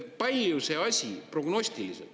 Palju see asi prognostiliselt …